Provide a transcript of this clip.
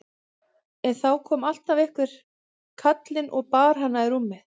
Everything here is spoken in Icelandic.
En þá kom alltaf einhver kallinn og bar hana í rúmið.